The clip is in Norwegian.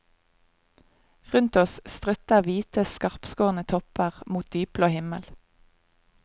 Rundt oss strutter hvite, skarpskårne topper mot dypblå himmel.